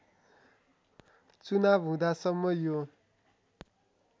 चुनाव हुँदासम्म यो